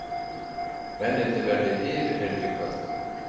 Mennirnir verði yfirheyrðir í kvöld